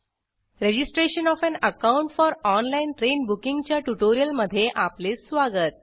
registration of an account for online train booking च्या ट्युटोरियलमध्ये आपले स्वागत